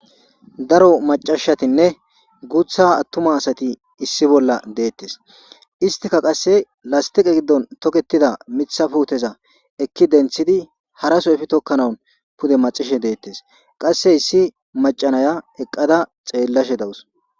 Daro macashatinne guutha attuma asati issi bolla deettes istika qasse lastiqe giddon toketida mitha puuteza ekki denthidi haraso efi tokkanaun pude macishe deettes qasse issi macanaya eqqada xeellashe dawus